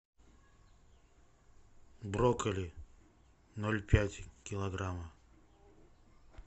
брокколи ноль пять килограмма